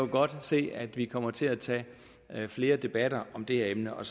godt se at vi kommer til at tage flere debatter om det her emne og